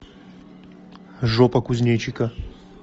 жопа кузнечика